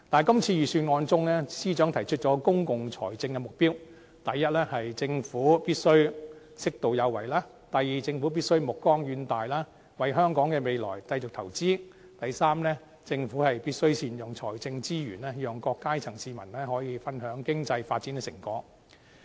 今次預算案，司長提出公共財政的目標，第一，政府必須適度有為；第二，政府必須目光遠大，為香港的未來繼續投資；第三，政府必須善用財政資源，讓各階層市民可以分享經濟發展的成果。